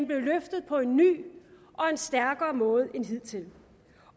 blev løftet på en ny og stærkere måde end hidtil